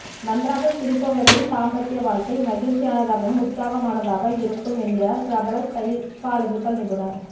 நன்றாக சிரிப்பவர்களின் தாம்பத்ய வாழ்க்கை மகிழ்ச்சியானதாக உற்சாகமானதாக இருக்கும் என்கிறார் பிரபல சைக்கலாஜிகல் நிபுணர்